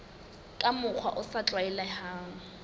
ka mokgwa o sa tlwaelehang